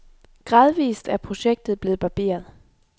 Gradvist er projektet blevet barberet.